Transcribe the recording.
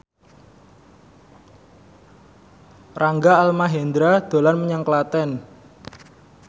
Rangga Almahendra dolan menyang Klaten